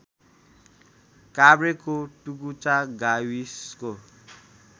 काभ्रेको टुकुचा गाविसको